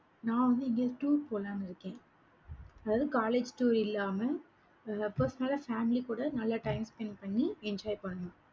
நான் வந்து, எங்காவது tour போலான்னு இருக்கேன். அதாவது college tour இல்லாம ஆஹ் personal ஆ family கூட நல்லா time spend பண்ணி enjoy பண்ணனும்